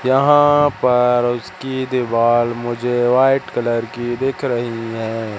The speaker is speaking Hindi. यहां पर उसकी दीवाल मुझे व्हाइट कलर की दिख रही है।